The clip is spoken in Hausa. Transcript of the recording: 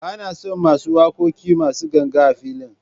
Ba na son waƙoƙin masu ganga a filin.